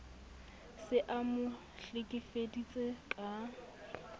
se a mo hlekefeditse ka